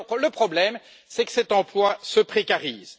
Mais le problème est que cet emploi se précarise.